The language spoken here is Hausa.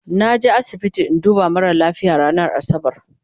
naje asibiti in duba mara lafia ranar asabar